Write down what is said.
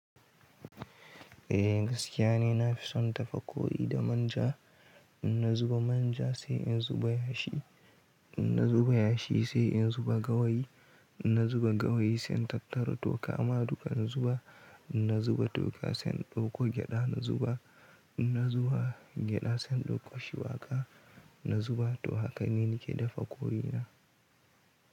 Eh gaskiya ne na fi son dafa koyi da manja. In na zuba manja sai in zuba yashi, in na zuba yashi sai in zuba gawayi, in na zuba gawayi sai na tattara toka. Ma duka in zuba, in na zuba toka sai in ɗauko gyaɗa na zuba, in na zuba gyaɗa sai in ɗauko shuwaka na zuba. To haka ne nake dafa koyi na.